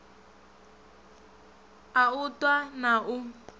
a u ṱwa na u